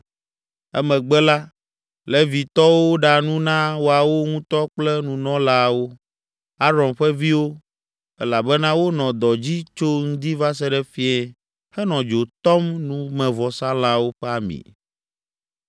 Emegbe la, Levitɔwo ɖa nu na woawo ŋutɔ kple nunɔlaawo, Aron ƒe viwo, elabena wonɔ dɔ dzi tso ŋdi va se ɖe fiẽ henɔ dzo tɔm numevɔsalãwo ƒe ami.